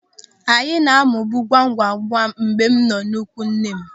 Anyị na-amụbu ngwamngwam mgbe m nọ n'ikwu nne m.